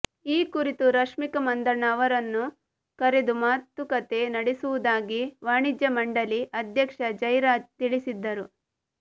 ಈ ಕುರಿತು ರಶ್ಮಿಕಾ ಮಂದಣ್ಣ ಅವರನ್ನು ಕರೆದು ಮಾತುಕತೆ ನಡೆಸುವುದಾಗಿ ವಾಣಿಜ್ಯ ಮಂಡಳಿ ಅಧ್ಯಕ್ಷ ಜೈರಾಜ್ ತಿಳಿಸಿದ್ದರು